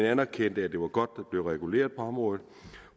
anerkendte at det var godt der blev reguleret på området